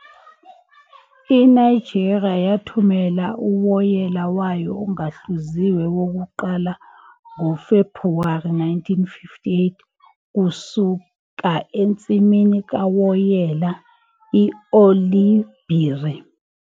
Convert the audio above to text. INigeria yathumela uwoyela wayo ongahluziwe wokuqala ngoFebhuwari 1958 kusuka ensimini kawoyela i-Oloibiri.